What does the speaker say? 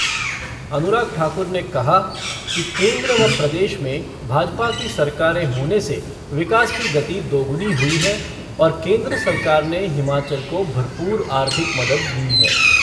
अनुराग ठाकुर ने कहा कि केन्द्र व प्रदेश में भाजपा की सरकारें होने से विकास की गति दोगुनी हुई है और केन्द्र सरकार ने हिमाचल को भरपूर आर्थिक मदद दी है।